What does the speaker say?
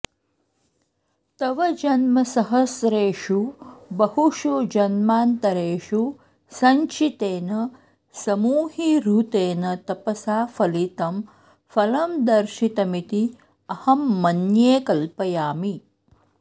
तव जन्मसहस्रेषु बहुषु जन्मान्तरेषु सञ्चितेन समूहीहृतेन तपसा फलितं फलं दर्शितमिति अहं मन्ये कल्पयामि